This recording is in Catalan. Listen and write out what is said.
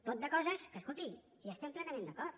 tot de coses que escolti hi estem plenament d’acord